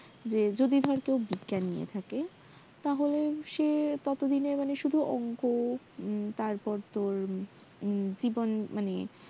যদি ধর কেউ বিজ্ঞান নিয়ে থাকে তাহলে সে ততদিন এ সুধু অঙ্ক তারপর তোর জীববিদ্যা